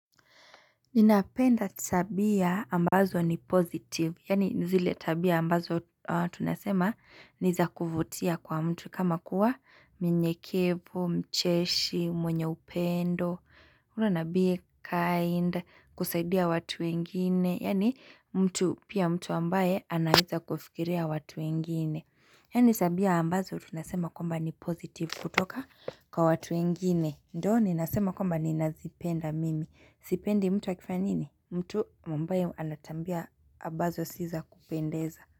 Ninapenda tabia ambazo ni pozitiv, yani zile tabia ambazo tunasema niza kuvutia kwa mtu kama kuwa minyekevu, mcheshi, mwenye upendo, urena be kind, kusaidia watu wengine, yani mtu pia mtu ambaye anaeza kufikiria watu wengine Yanisabia ambazo tunasema komba ni pozitiv kutoka kwa watu ingine ndo ni nasema komba ni nazipenda mimi Zipendi mtu wakifanya nini? Mtu mbaye anatabia ambazo siza kupendeza.